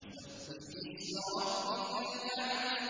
سَبِّحِ اسْمَ رَبِّكَ الْأَعْلَى